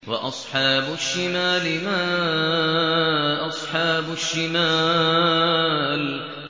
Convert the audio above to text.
وَأَصْحَابُ الشِّمَالِ مَا أَصْحَابُ الشِّمَالِ